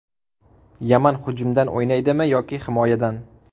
Yaman hujumdan o‘ynaydimi yoki himoyadan?